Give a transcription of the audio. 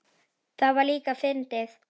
Það var líka fyndið.